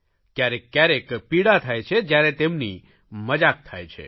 કયારેક કયારેક પીડા થાય છે જયારે તેમની મજાક થાય છે